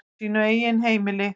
Á sínu eigin heimili.